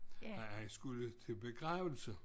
Nej han skulle til begravelse